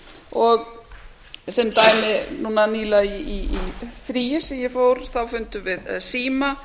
og sem dæmi nýlega í fríi sem ég fór þá fundum við síma